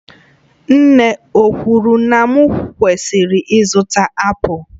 Nne ọ kwuru na m kwesịrị ịzụta apụl?